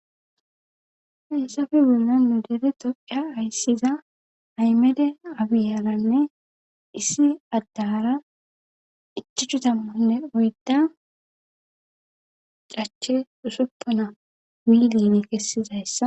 Hayssafe bolla nu dere toqiya hayssiza aymede abiyalanne issi addaara ichuchchu tammanne oydda cache usuppona wiiliine kessidayssa